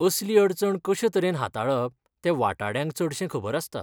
असली अडचण कशे तरेन हाताळप तें वाटाड्यांक चडशें खबर आसता.